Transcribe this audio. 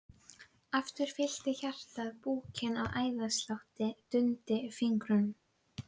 Aftur fyllti hjartað búkinn og æðaslátturinn dundi í fingrunum.